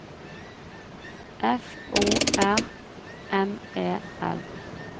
F O R M E L